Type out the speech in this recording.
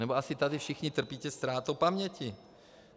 Nebo asi tady všichni trpíte ztrátou paměti.